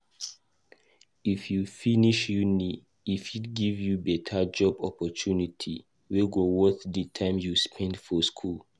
If u finish uni, e fit give you beta job opportunity wey go worth di time u spend for school